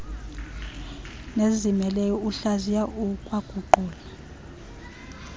nezizimeleyo uhlaziya ukwaguqula